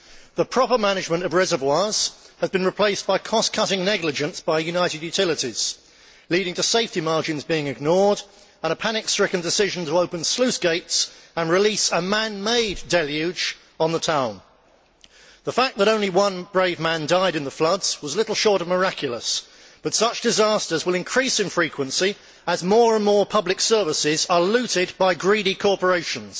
The proper management of reservoirs has been replaced by cost cutting negligence by United Utilities, leading to safety margins being ignored and a panic stricken decision to open sluice gates and release a man made deluge on the town. The fact that only one brave man died in the floods was little short of miraculous, but such disasters will increase in frequency as more and more public services are looted by greedy corporations.